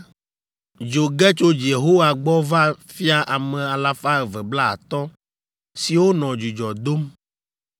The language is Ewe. Dzo ge tso Yehowa gbɔ va fia ame alafa eve blaatɔ̃ (250) siwo nɔ dzudzɔ dom.